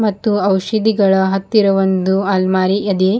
ಮತ್ತು ಔಷಧಿಗಳ ಹತ್ತಿರ ಒಂದು ಅಲ್ಮಾರಿ ಎದೆ.